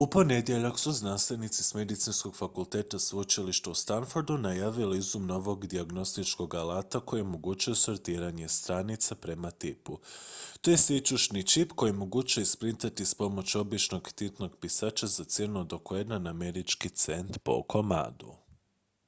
u ponedjeljak su znanstvenici s medicinskog fakulteta sveučilišta u stanfordu najavili izum novog dijagnostičkog alata koji omogućuje sortiranje stanica prema tipu to je sićušni čip koji je moguće isprintati s pomoću običnog tintnog pisača za cijenu od oko jedan američki cent po komadu